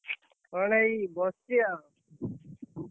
କଣ ଏଇ ବସଚି, ଆଉ।